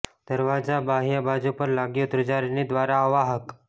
દરવાજા બાહ્ય બાજુ પર લાગ્યું ધ્રુજારીની દ્વારા અવાહક